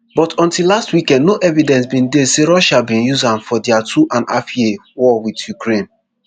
but until last weekend no evidence bin dey say russia bin use am for dia two and half year war wit ukraine